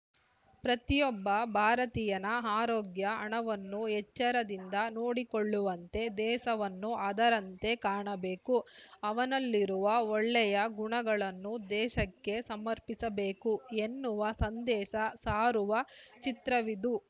ಪ್ರತಿಯೊಬ್ಬ ಭಾರತೀಯನ ಆರೋಗ್ಯ ಹಣವನ್ನು ಎಚ್ಚರದಿಂದ ನೋಡಿಕೊಳ್ಳುವಂತೆ ದೇಶವನ್ನು ಅದರಂತೆ ಕಾಣಬೇಕುಅವನಲ್ಲಿರುವ ಒಳ್ಳೆಯ ಗುಣಗಳನ್ನು ದೇಶಕ್ಕೆ ಸಮರ್ಪಿಸಬೇಕು ಎನ್ನುವ ಸಂದೇಶ ಸಾರುವ ಚಿತ್ರವಿದು